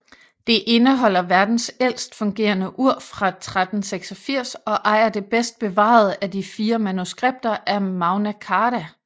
Det indeholder verdens ældst fungerende ur fra 1386 og ejer det bedst bevarede af de fire manuskripter af Magna Carta